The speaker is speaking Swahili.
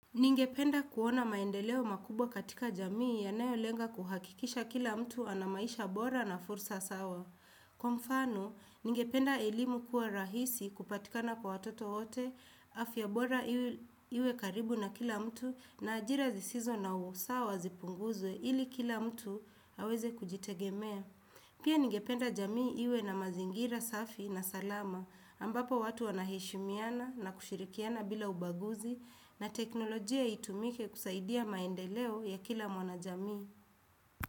Ningependa kuona maendeleo makubwa katika jamii yanayolenga kuhakikisha kila mtu ana maisha bora na fursa sawa. Kwa mfano, ningependa elimu kuwa rahisi kupatikana kwa watoto wote, afya bora iwe karibu na kila mtu na ajira zisizo na usawa zipunguzwe ili kila mtu aweze kujitegemea. Pia ningependa jamii iwe na mazingira, safi na salama ambapo watu wanaheshimiana na kushirikiana bila ubaguzi na teknolojia itumike kusaidia maendeleo ya kila mwanajamii.